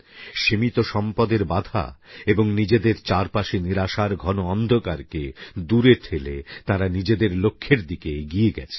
সীমিত সম্পদের বাঁধা এবং নিজেদের চারপাশে নিরাশার ঘন অন্ধকারকে দূরে ঠেলে তাঁরা নিজেদের লক্ষ্যের দিকে এগিয়ে গেছেন